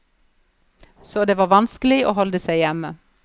Så det var vanskelig å holde seg hjemme.